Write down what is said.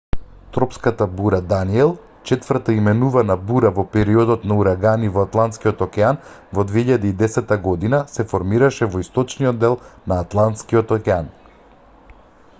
тропската бура даниел четврта именувана бура во периодот на урагани во атлантскиот океан во 2010 година се формираше во источниот дел на атлантскиот океан